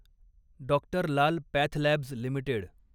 doctor Lal PathLabs limited